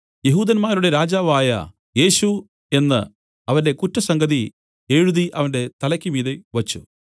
യെഹൂദന്മാരുടെ രാജാവായ യേശു എന്നു അവന്റെ കുറ്റസംഗതി എഴുതി അവന്റെ തലയ്ക്കുമീതെ വെച്ച്